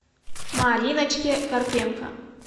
мариночке карпенко